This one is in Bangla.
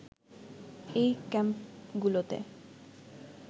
এই ক্যাম্পগুলোতে